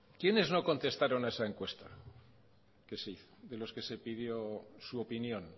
quiénes no contestaron a esa encuesta que se hizo de los que se pidió su opinión